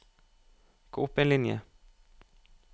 Gå opp en linje